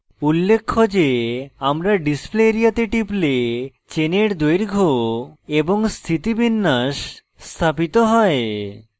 উল্লেখ্য যে আমরা display area তে টিপলে চেনের দৈর্ঘ্য এবং স্থিতিবিন্যাস স্থাপিত হয়